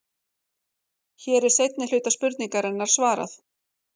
Hér er seinni hluta spurningarinnar svarað.